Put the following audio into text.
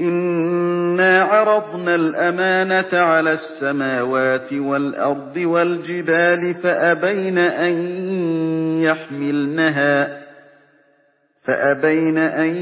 إِنَّا عَرَضْنَا الْأَمَانَةَ عَلَى السَّمَاوَاتِ وَالْأَرْضِ وَالْجِبَالِ فَأَبَيْنَ أَن